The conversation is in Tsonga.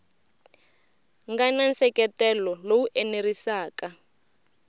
nga na nseketelo lowu enerisaka